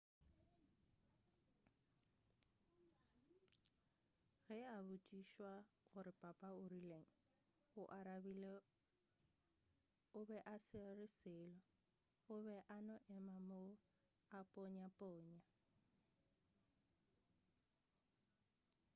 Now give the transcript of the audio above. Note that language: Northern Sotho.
ge a botšišwa gore papa o rileng o arabile o be a sa re selo o be a no ema moo a ponyaponya